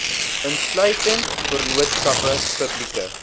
insluitende vennootskappe publieke